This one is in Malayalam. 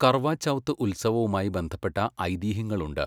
കർവാ ചൗത്ത് ഉത്സവവുമായി ബന്ധപ്പെട്ട ഐതിഹ്യങ്ങളുണ്ട്.